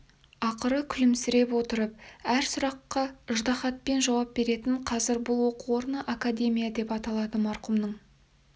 ақыры күлімсіреп отырып әр сұраққа ыждаһатпен жауап беретін қазір бұл оқу орны академия деп аталады марқұмның